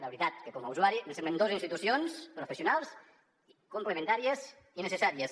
la veritat que com a usuari em semblen dos institucions professionals complementàries i necessàries